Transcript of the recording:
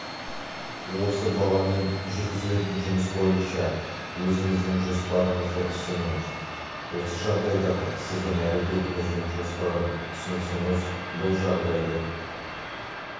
осы баламен жүргізілетін жұмыс бойынша өзіңіздің жоспарыңызды ұсыныңыз осы жағдайдағы сіздің әрекетіңіздің жоспарын ұсыныңыз бұл жағдайды